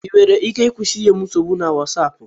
Ị nwere ike ịkwụsị inye m nsogbu na Wosap